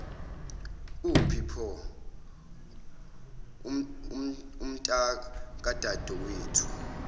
uphi pho umntakadadewenu